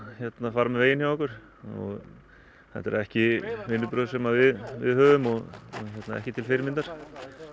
fara með veginn hjá okkur þetta eru ekki vinnubrögð sem við viðhöfum og ekki til fyrirmyndar